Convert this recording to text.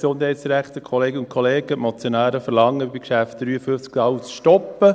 Die Motionäre verlangen beim Traktandum 53, alles zu stoppen.